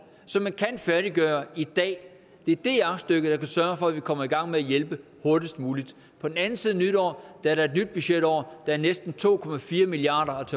som man kan færdiggøre i dag det er det aktstykke der kan sørge for at vi kommer i gang med at hjælpe hurtigst muligt på den anden side af nytår er der et nyt budgetår der er næsten to milliard